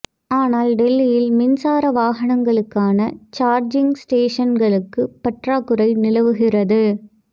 ஆனால் டெல்லியில் மின்சார வாகனங்களுக்கான சார்ஜிங் ஸ்டேஷன்களுக்கு பற்றாக்குறை நிலவுகிறது